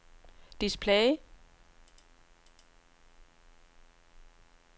display